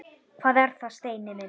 Hvað er það, Steini minn?